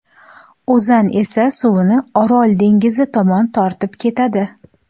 O‘zan esa suvni Orol dengizi tomon tortib ketadi.